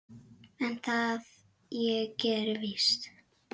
en það ég geri víst.